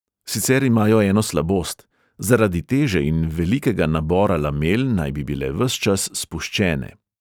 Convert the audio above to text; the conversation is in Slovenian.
Sicer imajo eno slabost: zaradi teže in velikega nabora lamel naj bi bile ves čas spuščene.